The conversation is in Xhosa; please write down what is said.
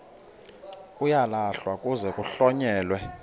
uyalahlwa kuze kuhlonyelwe